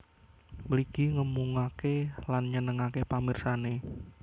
Mligi ngemungake lan nyenengake pamirsane